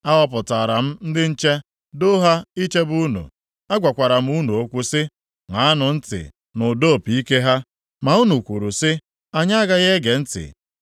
Ahọpụtara m ndị nche doo ha ichebe unu. Agwakwara m unu okwu sị, ‘Ṅaanụ ntị nʼụda opi ike ha.’ Ma unu kwuru sị, ‘Anyị agaghị ege ntị!’